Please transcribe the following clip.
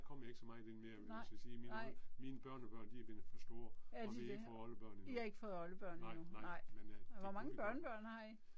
Nej, nej. Er de det. I har ikke fået oldebørn endnu nej. Hvor mange børnebørn har I?